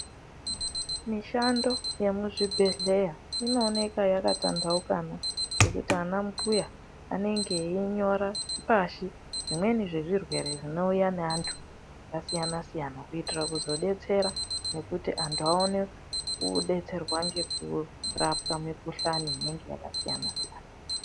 Mishando yemuzvibhedhleya inooneka yakatandaukana nekuti ana mbuya anenge einyora pashi zvimweni zvezvirwere zvinouya nevanthu vakasiyana siyana kuitira kuzodetsera nekuti vanthu vaone kuzodetserwa ngekurapwa mikuhlani inenge yakasiyana siyana.